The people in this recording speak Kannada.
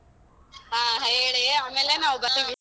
ಹ ಹೇಳಿ ಆಮೇಲೆ ನಾವ್ ಬತ್ತೀವಿ.